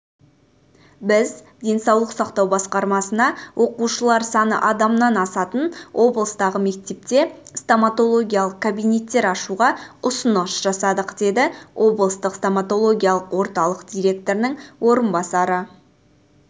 біз денсаулық сақтау басқармасына оқушылар саны адамнан асатын облыстағы мектепте стоматологиялық кабинеттер ашуға ұсыныс жасадық деді облыстық стоматологиялық орталық директорының орынбасары